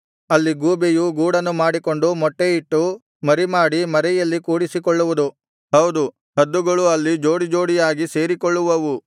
ಅಲ್ಲಿ ಗೂಬೆಯೂ ಗೂಡನ್ನು ಮಾಡಿಕೊಂಡು ಮೊಟ್ಟೆಯಿಟ್ಟು ಮರಿಮಾಡಿ ಮರೆಯಲ್ಲಿ ಕೂಡಿಸಿಕೊಳ್ಳುವುದು ಹೌದು ಹದ್ದುಗಳು ಅಲ್ಲಿ ಜೋಡಿಜೋಡಿಯಾಗಿ ಸೇರಿಕೊಳ್ಳುವವು